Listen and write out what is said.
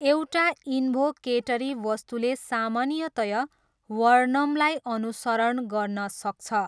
एउटा इन्भोकेटरी वस्तुले सामान्यतया वर्णमलाई अनुसरण गर्न सक्छ।